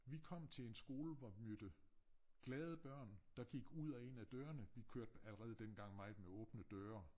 Vi kom til en skole hvor vi mødte glade børn der gik ud og ind af dørerne vi kørte allerede dengang meget med åbne døre